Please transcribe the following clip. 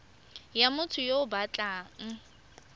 ya motho yo o batlang